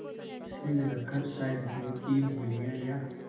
सिर रखकर शायद पैर की उँगलियाँ या